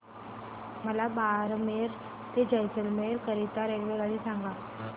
मला बारमेर ते जैसलमेर करीता रेल्वेगाडी सांगा